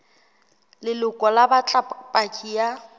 leloko ba batla paki ya